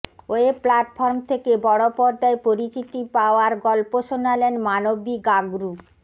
web platform থেকে বড় পর্দায় পরিচিতি পাওয়ার গল্প শোনালেন মানবী গাগরু